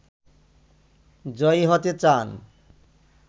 জয়ী হতে চান